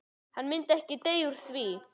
En hann myndi ekki deyja úr því.